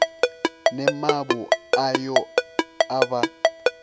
ne mavu ayo a vha